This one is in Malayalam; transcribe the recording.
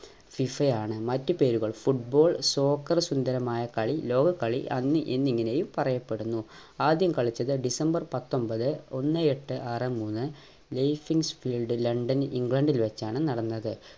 FIFA യാണ് മറ്റ് പേരുകൾ football soccer സുന്ദരമായ കളി ലോകകളി അന്ന് ഇന്ന് എന്നിങ്ങനെയും പറയപ്പെടുന്നു ആദ്യം കളിച്ചത് ഡിസംബർ പത്തൊമ്പത് ഒന്നേ എട്ട് ആറ് മൂന്ന് ലണ്ടനിൽ ഇംഗ്ലണ്ടിൽ വെച്ചാണ് നടന്നത്